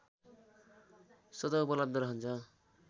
स्वतः उपलब्ध रहन्छ